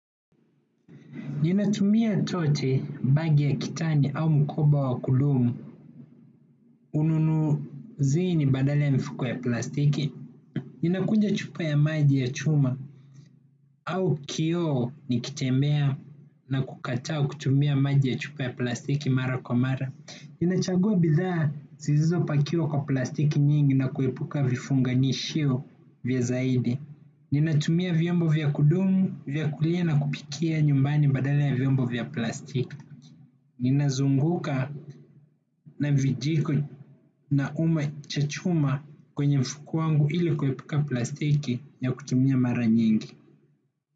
Ninatumia tote bagi ya kitani au mkoba wa kulumu, ununuzini badala ya mifuko ya plastiki. Ninakuja chupa ya maji ya chuma au kioo nikitembea na kukataa kutumia maji ya chupa ya plastiki mara kwa mara. Ninachagua bidhaa sizizo pakiwa kwa plastiki nyingi na kuepuka vifunganishio vya zaidi. Ninatumia vyombo vya kudumu, vyakulia na kupikia nyumbani badala ya vyombo vya plastiki. Ninazunguka na vijiko na uma chachuma kwenye mfuku wangu ili kuepuka plastiki ya kutumia mara nyingi.